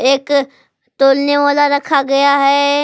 एक तौलने वाला रखा गया है।